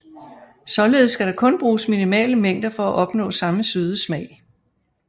Således skal der kun bruges minimale mængder for at opnå samme søde smag